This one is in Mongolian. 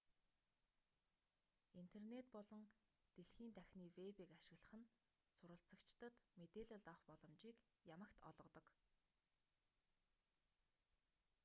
интернет болон дэлхий дахины вэбийг ашиглах нь суралцагчдад мэдээлэл авах боломжийг ямагт олгодог